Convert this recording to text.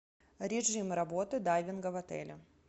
режим работы дайвинга в отеле